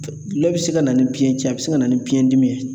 Gulɔ bɛ se ka na ni biyɛn cɛn a bɛ se ka na ni biyɛn dimi ye